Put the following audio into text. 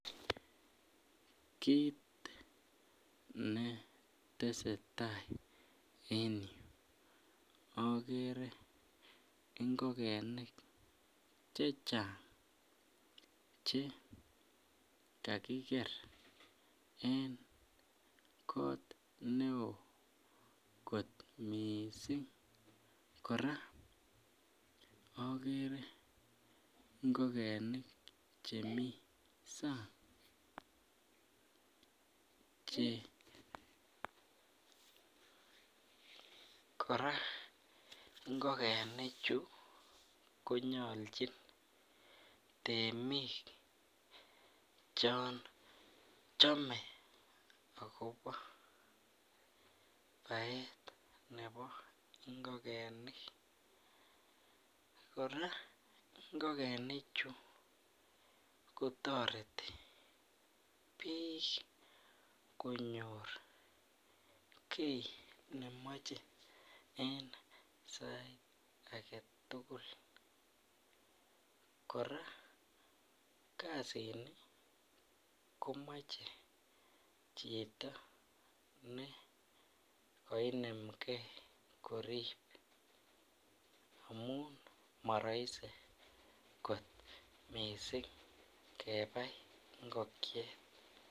Kit netese tai en yu akere ingokenik chechang che kakiker en kot ne oo kot miissing, kora akere ngokenik chemii sang, kora ngokenichu konyolchin temik chon chomee akobo baet nebo ngokenik, kora ngokenichu kotoreti biik konyor kii nemoche en sait agetugul ,kora kasini komoche chito nekoinemgee korip amun marahisi kot missing kebai ngokiet.